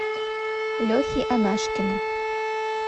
лехи анашкина